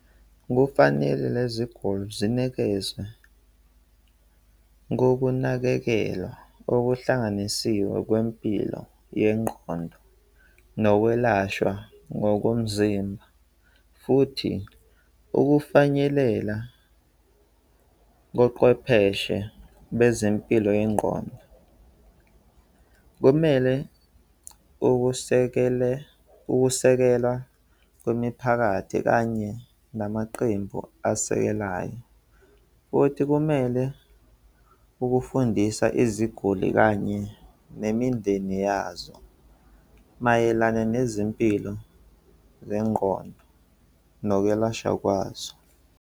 Kufanele lezi guli zinikezwe ngokunakekela okuhlanganisiwe kwempilo yengqondo nokwelashwa ngokomzimba futhi ukufanyelela koqwepheshe bezempilo yengqondo. Kumele ukusekele, ukusekela kwemiphakathi kanye namaqembu asekelayo, futhi kumele ukufundisa iziguli kanye nemindeni yazo mayelana nezimpilo zengqondo nokwelashwa kwazo.